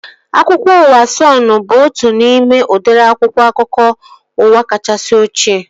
Akwụkwọ akụkọ ụwa Sọnụ bụbu otu n'ime udịri akwụkwọ akụkọ ụwa kachasị ochie